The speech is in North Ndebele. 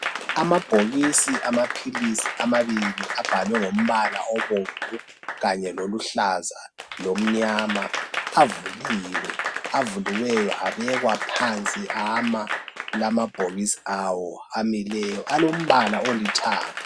Amabhokisi amaphilisi amabili abhalwe ngombala obomvu kanye loluhlaza lomnyama avuliwe avuliweyo abekwa phansi ama lamabhokisi awo amileyo alombala olithanga.